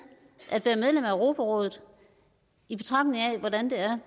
at være medlem af europarådet i betragtning af hvordan det er